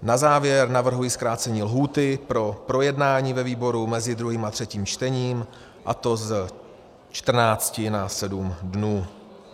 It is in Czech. Na závěr navrhuji zkrácení lhůty pro projednání ve výboru mezi druhým a třetím čtením, a to z 14 na 7 dnů.